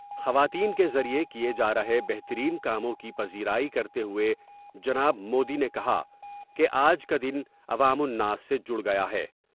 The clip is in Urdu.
خواتین کے ذریعے کئے جار ہے بہترین کاموں کی پزیرائی کرتے ہوۓ جناب مودی نے کہا کہ آج کا دن عوام الناس سے جڑ گیا ہے ۔